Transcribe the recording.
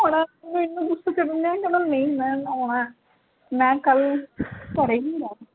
ਆਉਣਾ ਕਹਿੰਦਾ ਨਹੀਂ ਮੈਂ ਆਉਣਾ ਹੈ ਮੈਂ ਕਲ ਘਰੇ ਨਹੀਂ ਹੋਣਾ